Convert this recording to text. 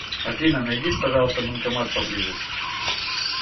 афина найди пожалуйста банкомат поблизости